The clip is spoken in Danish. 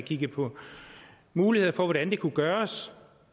kigget på muligheder for hvordan det kunne gøres